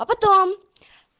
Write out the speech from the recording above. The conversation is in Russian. а потом